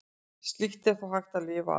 Slíkt er þó hægt að lifa af.